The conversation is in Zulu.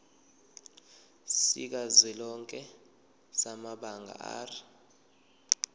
sikazwelonke samabanga r